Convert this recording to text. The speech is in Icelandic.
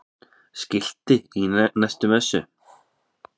Skilti í næstu messu?